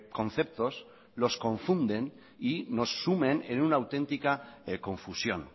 conceptos los confunden y nos sumen en una auténtica confusión